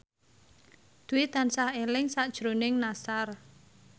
Dwi tansah eling sakjroning Nassar